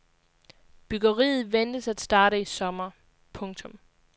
Byggeriet ventes at starte i sommer. punktum